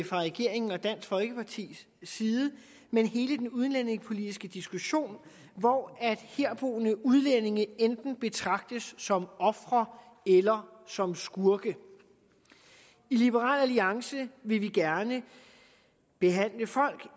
fra regeringen og dansk folkepartis side men hele den udlændingepolitiske diskussion hvor herboende udlændinge enten betragtes som ofre eller som skurke i liberal alliance vil vi gerne behandle folk